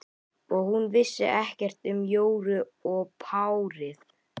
Og hún vissi ekkert um Jóru og párið.